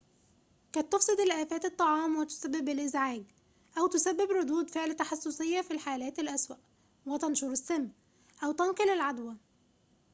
قد تُفسد الآفات الطعام وتسبب الإزعاج أو تسبب ردود فعل تحسسية في الحالات الأسوأ وتنشر السم أو تنقل العدوى